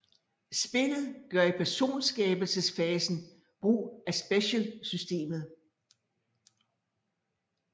Spillet gør i personskabelses fasen brug af SPECIAL Systemet